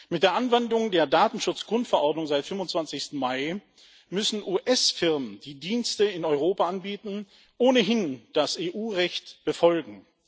Mit der Anwendung der Datenschutz Grundverordnung seit dem 25. Mai müssen US Firmen, die Dienste in Europa anbieten, ohnehin das EU Recht befolgen.